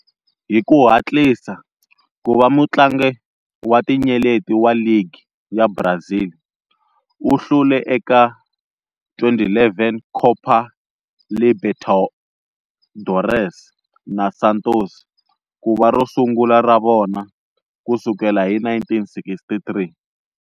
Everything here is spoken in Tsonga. Hiku hatlisa kuva mutlangi wa tinyeleti wa ligi ya Brazil, u hlule eka 2011 Copa Libertadores na Santos, kuva rosungula ra vona kusukela hi 1963.